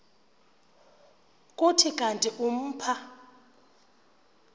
kuthi kanti umpha